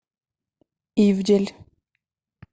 ивдель